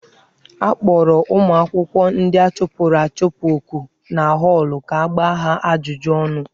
A kpọrọ ụmụ akwụkwọ ndị a chụpụrụ achụpụ oku na họọlụ ka a gbaa ha ajụjụ ọnụ.